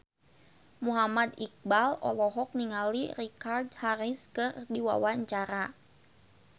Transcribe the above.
Muhammad Iqbal olohok ningali Richard Harris keur diwawancara